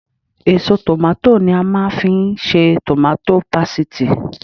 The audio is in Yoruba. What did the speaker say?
Èso tòmátò ni màá fi ń ṣe tòmátò pasìtì